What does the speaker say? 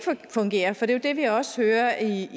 fungerer for det er jo det vi også hører i